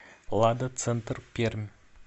лада центр пермь